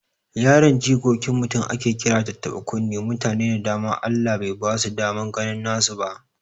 Yaran jikokin mutum ake kira tattaɓa kunne, mutane da dama Allah bai basu daman ganin nasu ba